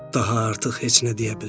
Daha artıq heç nə deyə bilmədi.